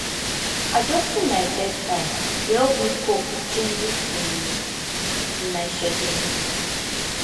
adjusting my bedtime dey help me cope with changes in in my schedule